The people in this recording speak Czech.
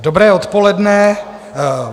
Dobré odpoledne.